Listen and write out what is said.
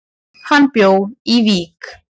Hann bjó í Vík.